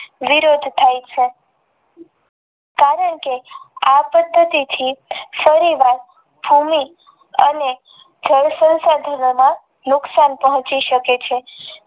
વિરોધ ઉઠાવે છે કારણ કે આપત્તિ થી સરુવાત અને જળ સંશોધનોમાં નુકસાન પોહચી શકે છે.